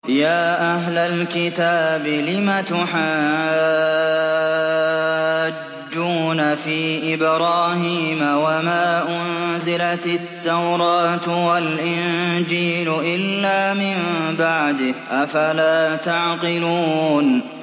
يَا أَهْلَ الْكِتَابِ لِمَ تُحَاجُّونَ فِي إِبْرَاهِيمَ وَمَا أُنزِلَتِ التَّوْرَاةُ وَالْإِنجِيلُ إِلَّا مِن بَعْدِهِ ۚ أَفَلَا تَعْقِلُونَ